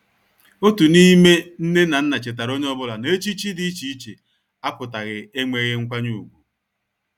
Otu n'ime nne na nna chetaara onye ọbụla na echichi dị iche iche apụtaghi enweghi nkwanye ùgwù.